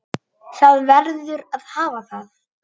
Það verður að hafa það.